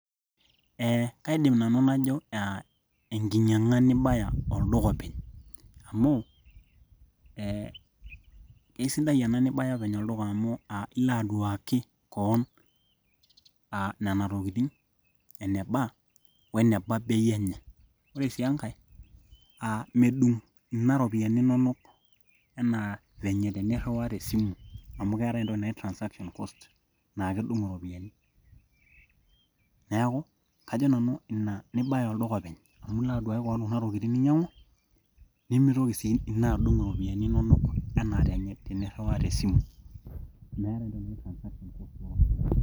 Eeh kaidim nanu najo aa enkinyiang'a nibaya olduka openy amu ee kesidai ena nibaya olduka amu ilo aduaki kewon aa nena tokitin eneba weneba bei enye ore sii enkae aa medung ina iropiyiani inonok enaa venye teniriwaa tesimu amu keetai entoki naji transaction cost naa kedung iropiyiani neeku kajo nanu ina nibaya olduka openy amu ilo aduaki kewon kuna tokitin ninyiang'u nimitoki sii ina adung iropiyiani inonok enaa teniriwaa tesimu.